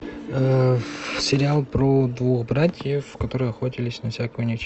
сериал про двух братьев которые охотились на всякую нечисть